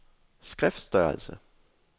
skriftstørrelse